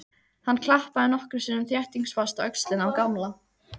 Hann klappaði nokkrum sinnum þéttingsfast á öxlina á Gamla.